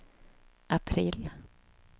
april